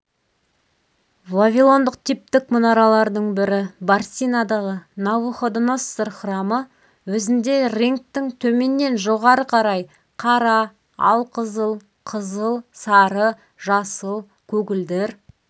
вавилондық типтік мұнаралардың бірі барсинадағы навуходоноссор храмы өзінде реңктің төменнен жоғары қарай қара алқызыл қызыл сары жасыл көгілдір